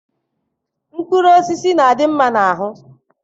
Mkpụrụ osisi na-adị mma n'ahụ